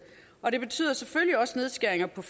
og det betyder selvfølgelig også nedskæringer på